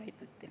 Aitäh!